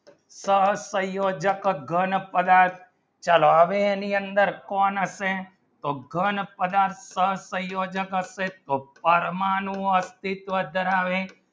દર પ્રયોજક ઘણ પદાર્થ ચલો આવે અને અંદર કોણ અસે તો ઘણ પદાર્થ સંયોજક અસે તો તો પરમાણુ આર્થિક દર આવે